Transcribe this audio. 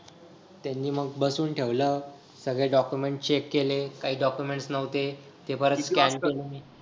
त्यांनी मग बसून ठेवलं सगळे documents check केलं काही documents नव्हते ते परत